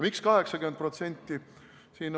Miks 80%?